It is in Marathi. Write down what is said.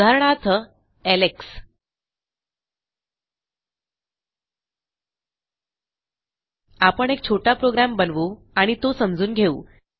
उदाहरणार्थ एलेक्स आपण एक छोटा प्रोग्रॅम बनवू आणि तो समजून घेऊ